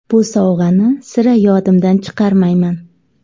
Bu sovg‘ani sira yodimdan chiqarmayman.